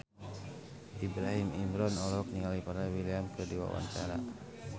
Ibrahim Imran olohok ningali Pharrell Williams keur diwawancara